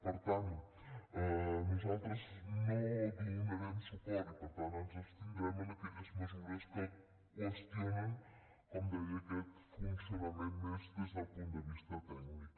per tant nosaltres no donarem suport i per tant ens abstindrem en aquelles mesures que qüestionen com deia aquest funcionament més des del punt de vista tècnic